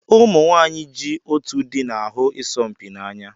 Ụmụ nwanyị ji otú dị na-ahụ isompi n'anya